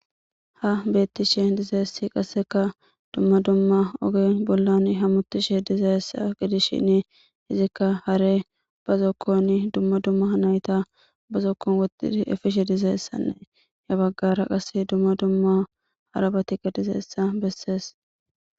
Ha bettishe dizeessi qasseka dumma dumma oge bollan hamutishe dizayessa gidishshin izikka hare ba zokkon dumma dumma hnayta ba zokkon woi efishe dizayessannee ha baggara qasse dumma dumma harabatiqa dizeessa bessees.